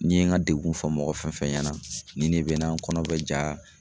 Ni ye n ga degun fɔ mɔgɔ fɛn fɛn ɲɛna nin ne be n kɔnɔ bɛ ja